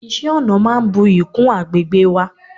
iṣẹ ọna máà ń buyì kún agbegbe wa